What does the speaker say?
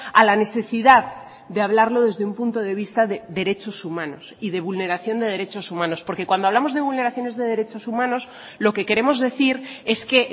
a la necesidad de hablarlo desde un punto de vista de derechos humanos y de vulneración de derechos humanos porque cuando hablamos de vulneraciones de derechos humanos lo que queremos decir es que